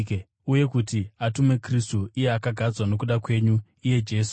uye kuti atume Kristu, iye akagadzwa nokuda kwenyu, iye Jesu.